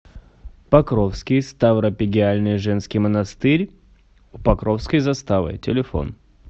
покровский ставропигиальный женский монастырь у покровской заставы телефон